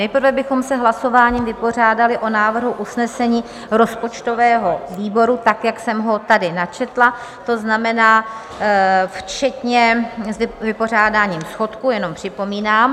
Nejprve bychom se hlasováním vypořádali s návrhem usnesení rozpočtového výboru tak, jak jsem ho tady načetla, to znamená včetně vypořádání schodku, jenom připomínám.